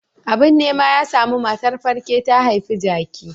Abin nema ya samu, matar falke ta haifi jaki.